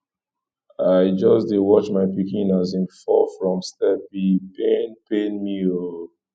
i just dey watch my pikin as im fall from step e pain pain me o